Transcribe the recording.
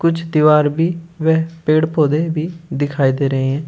कुछ दीवार भी वेह पेड़ पौधे भी दिखाई दे रहे हैं।